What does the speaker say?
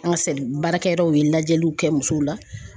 An ka se ,baarakɛyɔrɔw ye lajɛliw kɛ musow la